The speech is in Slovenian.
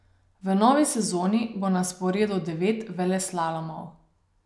V novi sezoni bo na sporedu devet veleslalomov.